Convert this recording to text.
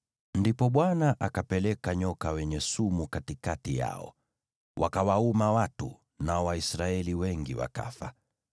Ndipo Bwana akapeleka nyoka wenye sumu katikati yao; wakawauma watu, nao Waisraeli wengi wakafa.